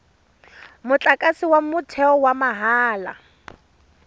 motlakase wa motheo wa mahala